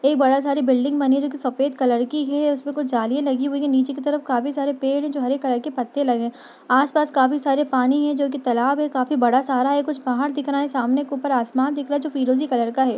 एक बड़ा सारी बिल्डिंग बनी हुई है जोकि सफ़ेद कलर की है उसपे कुछ जालियां लगी हुई है नीचे की तरफ काफी सारे पेड़ है जो हरे कलर के पत्ते लगे है। आस पास काफी सारे पानी है जो कि तालाब है काफी बड़ा सहारा है कुछ पहाड़ दिख रहा है। सामने के ऊपर आसमान दिख रहा है जो फिरोजी कलर का है।